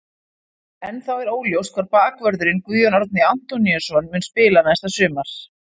Ennþá er óljóst hvar bakvörðurinn Guðjón Árni Antoníusson mun spila næsta sumar.